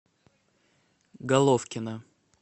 головкина